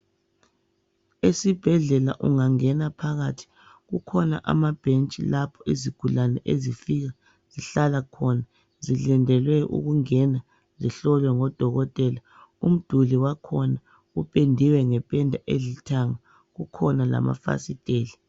Esibhedlela ungangena phakathi kukhona amabhentshi lapho izigulane ezifika zihlala khona zilindele ukungena zihlolwe ngodokotela. Umduli wakhona upendiwe ngependa elithanga kukhona lamafasiteli.